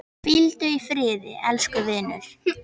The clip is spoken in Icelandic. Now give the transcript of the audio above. Hvíldu í friði elsku vinur.